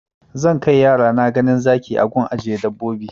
Zan kai yarana ganin zaki a gun ajiye dabbobi